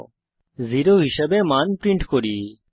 আমরা 0 হিসাবে মান প্রিন্ট করি